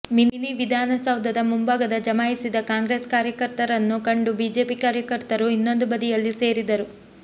mini ವಿಧಾನಸೌಧದ ಮುಂಭಾಗ ಜಮಾಯಿಸಿದ ಕಾಂಗ್ರೆಸ್ ಕಾರ್ಯಕರ್ತರನ್ನು ಕಂಡು ಬಿಜೆಪಿ ಕಾರ್ಯಕರ್ತರೂ ಇನ್ನೊಂದು ಬದಿಯಲ್ಲಿ ಸೇರಿದರು